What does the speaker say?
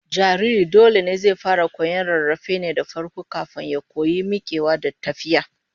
Jariri dole zai fara koyon rarrafe ne farko, kafin ya koyi mikewa da tafiya